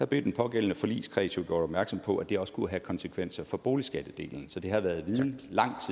blev den pågældende forligskreds jo gjort opmærksom på at det også kunne have konsekvenser for boligskattedelen så det har været viden